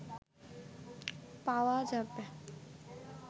পাওয়া যাবে